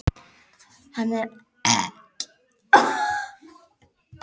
Hann er ekki vanur að láta svona við hana.